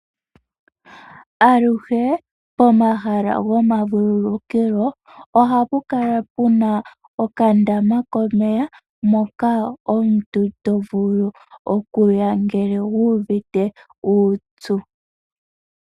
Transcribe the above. Aluhe pomahala gomavululukilo ohapu kala puna okandama komeya moka omuntu tovulu okuya ngele wuuvite uupyu